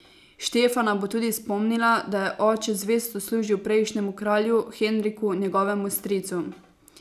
Štefana bo tudi spomnila, da je oče zvesto služil prejšnjemu kralju, Henriku, njegovemu stricu.